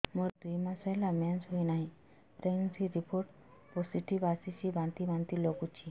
ମୋର ଦୁଇ ମାସ ହେଲା ମେନ୍ସେସ ହୋଇନାହିଁ ପ୍ରେଗନେନସି ରିପୋର୍ଟ ପୋସିଟିଭ ଆସିଛି ବାନ୍ତି ବାନ୍ତି ଲଗୁଛି